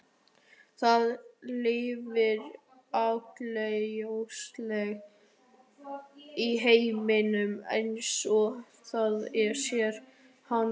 Það lifir augljóslega í heiminum eins og það sér hann.